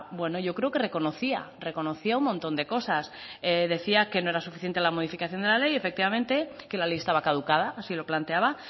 bueno yo creo que reconocía reconocía un montón de cosas decía que no era suficiente la modificación de la ley efectivamente que la ley estaba caducada así lo planteaba